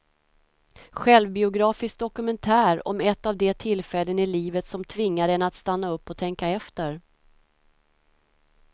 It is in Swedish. Självbiografisk dokumentär om ett av de tillfällen i livet som tvingar en att stanna upp och tänka efter.